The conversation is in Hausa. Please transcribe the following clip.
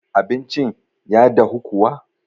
abincin. ya dahu kuwa?